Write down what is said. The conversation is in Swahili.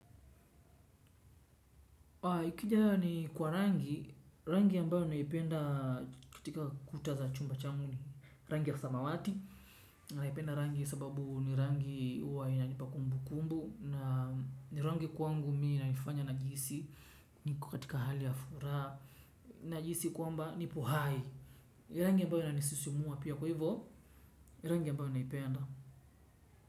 Ikija ni kwa rangi, rangi ambayo naipenda katika kuta za chumba changu ni rangi ya samawati. Naipenda rangi sababu ni rangi huwa inanipa kumbu kumbu. Na rangi kwangu mii naifanya najihisi niko katika hali ya furaha. Najihisi kwamba nipo hai. Rangi ambayo inanisisimua pia kwa hivo rangi ambayo naipenda.